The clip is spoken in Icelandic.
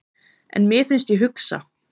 En mér finnst ég hugsa.